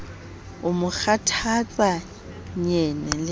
o mo kgathatsa nyene le